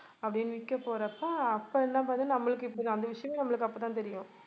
அப்படின்னு விக்கப்போறப்ப அப்ப என்ன பார்த்தா நம்மளுக்கு இப்ப அந்த விஷயமே நம்மளுக்கு அப்பதான் தெரியும்